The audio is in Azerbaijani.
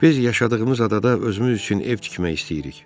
Biz yaşadığımız adada özümüz üçün ev tikmək istəyirik.